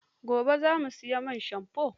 Gobe za mu sayi man shamfo.